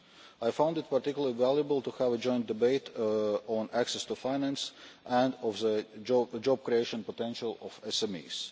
I found it particularly valuable to have a joint debate on access to finance and on the job creation potential of SMEs.